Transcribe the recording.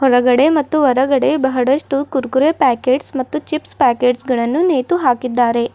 ಒಳಗಡೆ ಮತ್ತು ಹೊರಗಡೆ ಬಹಳಷ್ಟು ಕುರ್ಕುರೆ ಪ್ಯಾಕೆಟ್ಸ್ ಮತ್ತು ಚಿಪ್ಸ್ ಪ್ಯಾಕೆಟ್ಸ್ ಗಳನ್ನು ನೇತು ಹಾಕಿದ್ದಾರೆ.